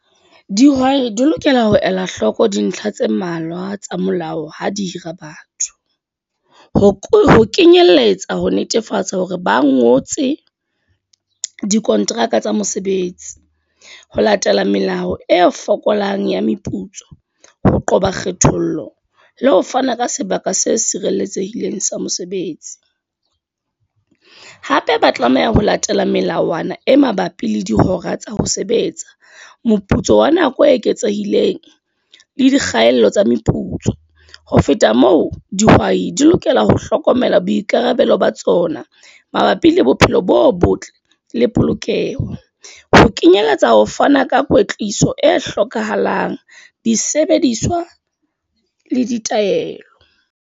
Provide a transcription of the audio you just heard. Dihwai di lokela ho ela hloko dintlha tse mmalwa tsa molao, ha di hira batho. Ho kenyelletsa ho netefatsa hore ba ngotse dikonteraka tsa mosebetsi. Ho latela melao e fokolang ya meputso. Ho qoba kgethollo, le ho fana ka sebaka se sireletsehileng sa mosebetsi. Hape ba tlameha ho latela melawana e mabapi le dihora tsa ho sebetsa. Moputso wa nako e eketsehileng, le dikgaello tsa meputso. Ho feta moo, dihwai di lokela ho hlokomela boikarabelo ba tsona. Mabapi le bophelo bo botle le polokeho. Ho kenyelletsa ho fana ka kwetliso e hlokahalang, disebediswa le ditaelo.